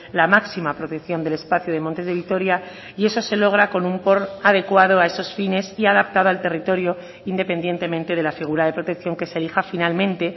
la máxima protección del espacio de montes de vitoria y eso se logra con un porn adecuado a esos fines y adaptado al territorio independientemente de la figura de protección que se elija finalmente